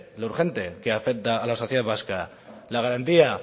lo urgente que afecta a la sociedad vasca la garantía